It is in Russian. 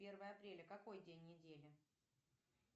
первое апреля какой день недели